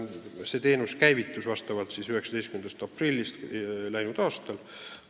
See teenus käivitus 19. aprillil läinud aastal.